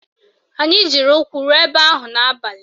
Anyị jiri ụkwụ ruo ebe ahụ n'abalị